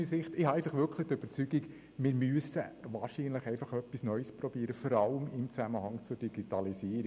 Ich bin aber wirklich überzeugt, dass wir etwas Neues ausprobieren müssen, vor allem in Zusammenhang mit der Digitalisierung.